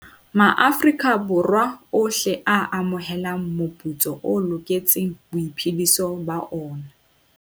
Borwa ohle a amohelang moputso o loketseng boiphediso ba ona.